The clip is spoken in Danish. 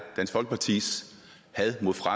fra